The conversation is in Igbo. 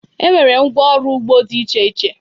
E nwere ngwá ọrụ ugbo dị iche iche.